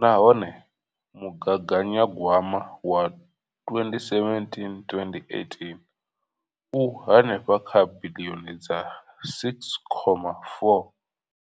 nahone mugaganyagwama wa 2017 to 2018 u henefha kha biḽioni dza R6.4.